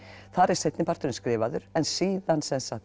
þar er seinni parturinn skrifaður en síðan